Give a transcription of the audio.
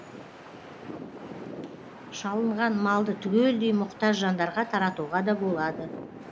шалынған малды түгелдей мұқтаж жандарға таратуға да болады